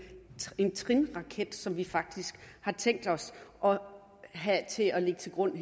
flertrinsraket som vi faktisk har tænkt os at have til at ligge til grund